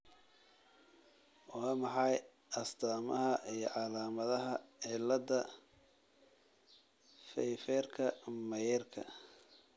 Waa maxay astamaha iyo calaamadaha cilada Pfeifferka Mayerka?